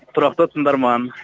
тұрақты тыңдарман